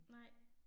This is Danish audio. Nej